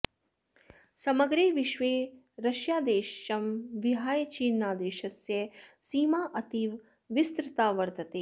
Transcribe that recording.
समग्रे विश्वे रष्यादेशं विहाय चीनादेशस्य सीमा अतीव विस्तृता वर्तते